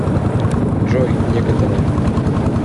джой некоторое